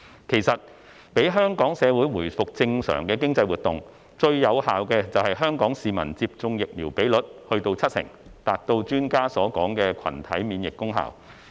其實，讓香港社會回復正常的經濟活動，最有效的便是香港市民接種疫苗比率達七成，達到專家所說的群體免疫功效。